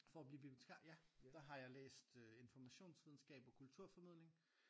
For at blive bibliotikar? Ja der har jeg læst øh informationsvidenskab og kulturformidling